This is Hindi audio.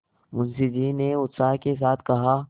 मुंशी जी ने उत्साह के साथ कहा